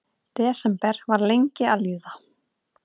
Desember var lengi að líða.